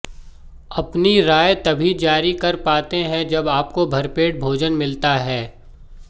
अपनी राय तभी जारी कर पाते हैं जब आपको भरपेट भोजन मिलता है